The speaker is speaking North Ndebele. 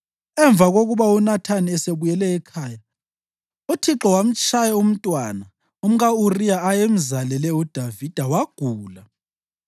Emva kokuba uNathani esebuyele ekhaya, uThixo wamtshaya umntwana umka-Uriya ayemzalele uDavida, wagula.